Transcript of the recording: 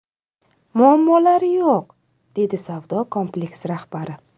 Muammolari yo‘q”, – deydi savdo kompleksi rahbari.